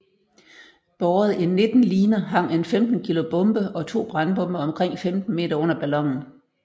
Båret i 19 liner hang en 15 kg bombe og to brandbomber omkring 15 meter under ballonen